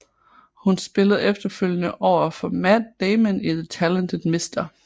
Hun spillede efterfølgende over for Matt Damon i The Talented Mr